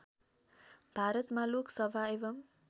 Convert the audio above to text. भारतमा लोकसभा एवं